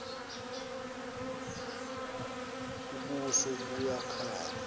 ubuso buya khanya